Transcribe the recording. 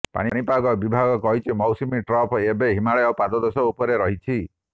ପାଣିପାଗ ବିଭାଗ କହିଛି ମୌସୁମୀ ଟ୍ରଫ୍ ଏବେ ହିମାଳୟ ପାଦଦେଶ ଉପରେ ରହିଛି